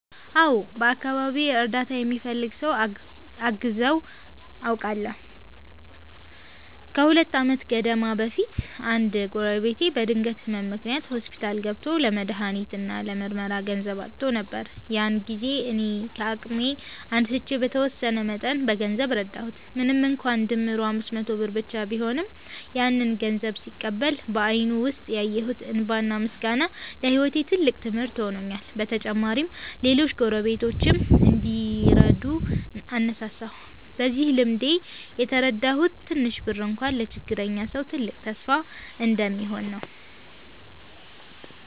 አዎ፣ በአካባቢዬ እርዳታ የሚፈልግ ሰው አግዘው አውቃለሁ። ከሁለት ዓመት ገደማ በፊት አንድ ጎረቤቴ በድንገት ህመም ምክንያት ሆስፒታል ገብቶ ለመድሃኒት እና ለምርመራ ገንዘብ አጥቶ ነበር። ያን ጊዜ እኔ ከአቅሜ አንስቼ በተወሰነ መጠን በገንዘብ ረዳሁት። ምንም እንኳን ድምሩ 500 ብር ብቻ ቢሆንም፣ ያንን ገንዘብ ሲቀበል በአይኑ ውስጥ ያየሁት እንባና ምስጋና ለህይወቴ ትልቅ ትምህርት ሆኖልኛል። በተጨማሪም ሌሎች ጎረቤቶችም እንዲረዱ አነሳሳሁ። በዚህ ልምዴ የተረዳሁት ትንሽ ብር እንኳ ለችግረኛ ሰው ትልቅ ተስፋ እንደሚሆን ነው።